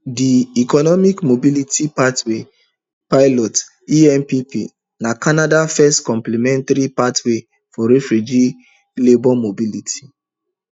di economic mobility pathways pilot empp na canada first complementary pathway for refugee labour mobility